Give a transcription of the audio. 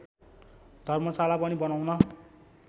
धर्मशाला पनि बनाउन